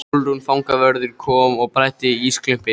Sólrún fangavörður kom og bræddi ísklumpinn.